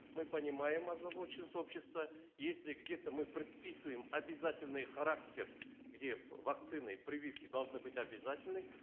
мы понимаем озабоченность общества если где то мы предписываем обязательный характер где вакцины прививки должны быть обязательны